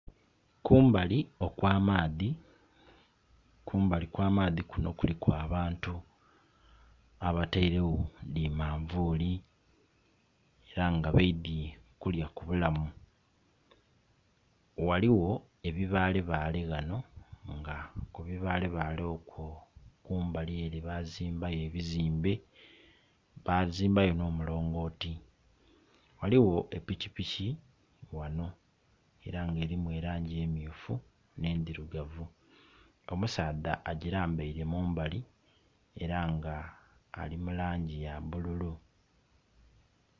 Kumbali okwa maadhi, kumbali okwa maadhi kuno kuliku abantu abateiregho dhi manvuli era nga baidhye kulya ku bulamu. Ghaligho ebibalebale ghano nga kubibalebale okwo kumbali ele bazimbayo ebizimbe bazimbayo nh'omulongoti. Ghaligho pikipiki ghano era nga erimu erangi emyufu ne ndhirugavu, omusaadha agilambeire mumbali era nga ali mu langi ya bululu.